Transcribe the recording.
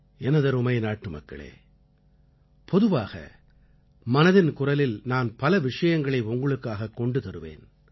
எனதருமை நாட்டுமக்களே பொதுவாக மனதின் குரலில் நான் பல விஷயங்களை உங்களுக்காகக் கொண்டு வந்து தருவேன்